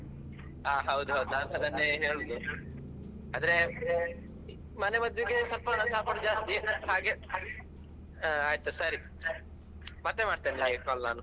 ಹಾ ಹೌದ್ ಹೌದು ನಾನ್ಸ ಅದನ್ನೇ ಹೇಳುದು. ಅಂದ್ರೆ ಮನೆ ಮದ್ದಿಗೆ ಸ್ವಲ್ಪ ಉತ್ಸಾಹ ಕೊಡುದು ಜಾಸ್ತಿ ಹಾಗೆ ಆಯ್ತು ಸರಿ ಮತ್ತೆ ಮಾಡ್ತೇನೆ ಹಾಗೆ call ನಾನು.